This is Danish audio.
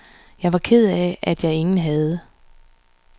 Jeg var ked af, at jeg ingen havde.